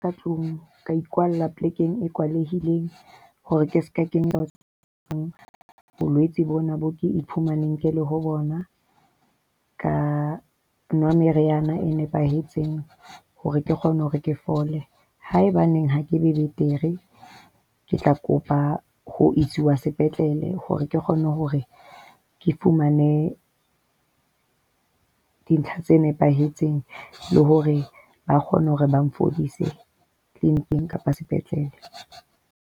Ka tlung, ka ikwalla polekeng e kwalehileng hore ke seka kena bolwetse bona boo ke iphumaneng ke le ho bona. Ka nwa meriana e nepahetseng hore ke kgone hore ke fole. Haebaneng ha ke be betere ke tla kopa ho isiswa sepetlele hore ke kgone hore ke fumane dintlha tse nepahetseng, le hore ba kgone hore ba mphodise clinic-eng kapa sepetlele.